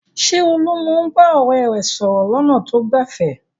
Ṣé Olú máa ń bá ọ̀rẹ́ rẹ̀ sọ̀rọ̀ lọ́nà tó gbẹ̀fẹ̀?